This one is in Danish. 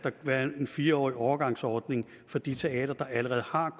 være en fire årig overgangsordning for de teatre der allerede har